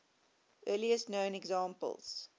earliest known examples